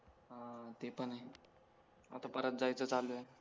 हां ते पण आहे आता परत जायचं चालू आहे